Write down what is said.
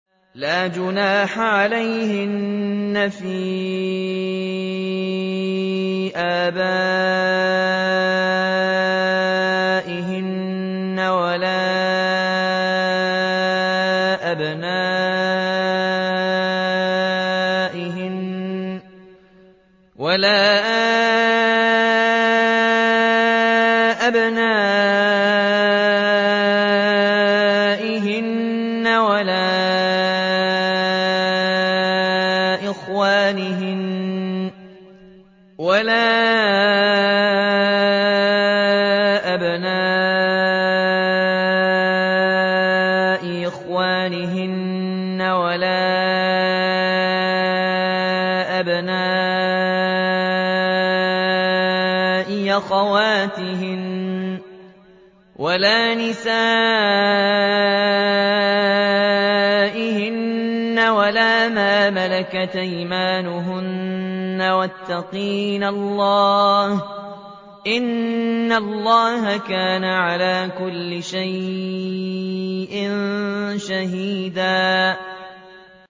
لَّا جُنَاحَ عَلَيْهِنَّ فِي آبَائِهِنَّ وَلَا أَبْنَائِهِنَّ وَلَا إِخْوَانِهِنَّ وَلَا أَبْنَاءِ إِخْوَانِهِنَّ وَلَا أَبْنَاءِ أَخَوَاتِهِنَّ وَلَا نِسَائِهِنَّ وَلَا مَا مَلَكَتْ أَيْمَانُهُنَّ ۗ وَاتَّقِينَ اللَّهَ ۚ إِنَّ اللَّهَ كَانَ عَلَىٰ كُلِّ شَيْءٍ شَهِيدًا